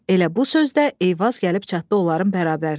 Elə bu sözdə Eyvaz gəlib çatdı onların bərabərinə.